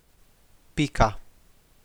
Pika.